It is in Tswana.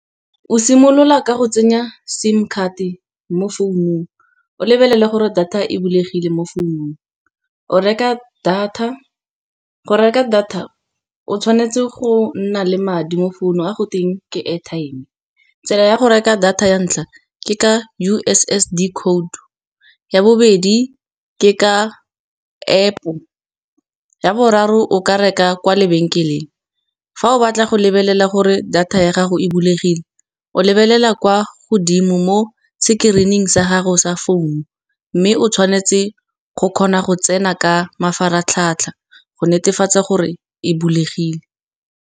O simolola ka go tsenya SIM card mo founung, o lebelele gore data e bulegile mo founung. O reka data go reka data o tshwanetse go nna le madi mo founung a go teng ke airtime. Tsela ya go reka data ya ntlha ke ka U_S_S_D code ya bobedi ke ka App-o, ya boraro o ka reka kwa lebenkeleng. Fa o batla go lebelela gore data ya gago e bulegile, o lebelela kwa godimo mo screen-ing sa gago sa founu, mme o tshwanetse go kgona go tsena ka mafaratlhatlha go netefatsa gore e bulegile.